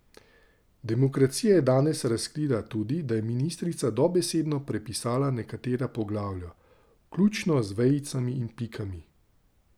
Demokracija je danes razkrila tudi, da je ministrica dobesedno prepisala nekatera poglavja, vključno z vejicami in pikami.